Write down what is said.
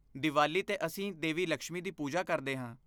ਦੀਵਾਲੀ 'ਤੇ ਅਸੀਂ ਦੇਵੀ ਲਕਸ਼ਮੀ ਦੀ ਪੂਜਾ ਕਰਦੇ ਹਾਂ।